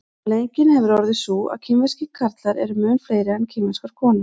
afleiðingin hefur orðið sú að kínverskir karlar eru mun fleiri en kínverskar konur